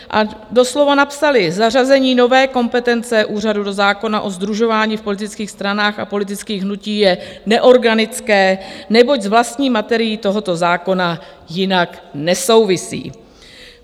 A doslova napsali: Zařazení nové kompetence úřadu do zákona o sdružování v politických stranách a politických hnutích je neorganické, neboť s vlastní materií tohoto zákona jinak nesouvisí.